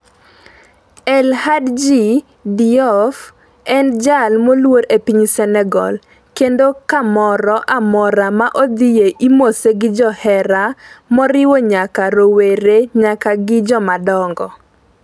El Hadji Diouf en jal moluor e piny Senegal kendo kamoro amora ma odhie imose gi johera moriwo nyaka rowere nyaka gi jomadongo.